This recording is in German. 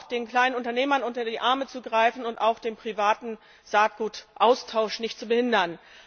den kleinen Unternehmern unter die Arme zu greifen und den privaten Saatgutaustausch nicht zu behindern.